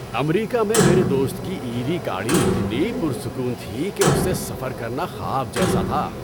امریکہ میں میرے دوست کی ای وی گاڑی اتنی پرسکون تھی کہ اس سے سفر کرنا خواب جیسا تھا۔